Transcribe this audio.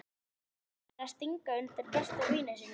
Eins og maður færi að stinga undan besta vini sínum!